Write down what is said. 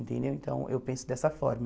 Entendeu então, eu penso dessa forma.